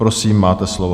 Prosím, máte slovo.